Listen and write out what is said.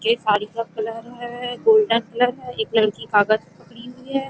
ये साड़ी का कलर है गोल्डन कलर है एक लड़की कागज पकड़ी हुई है ।